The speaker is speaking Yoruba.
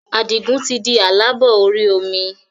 Adigun tí di aláàbò orí omi